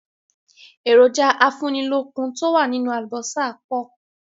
Èròjà afúnilókun to wá nínú àlùbósà pọ̀